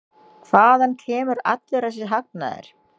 Hvaðan kemur allur þessi hagnaður?